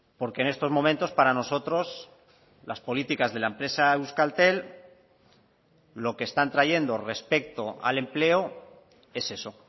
porque en estos momentos para nosotros las políticas de la empresa euskaltel lo que están trayendo respecto al empleo es eso